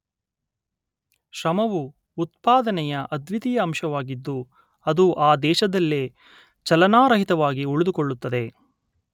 ಶ್ರಮವು ಉತ್ಪಾದನೆಯ ಅದ್ವಿತೀಯ ಅಂಶವಾಗಿದ್ದು ಅದು ಆ ದೇಶದಲ್ಲೇ ಚಲನಾರಹಿತವಾಗಿ ಉಳಿದುಕೊಳ್ಳುತ್ತದೆ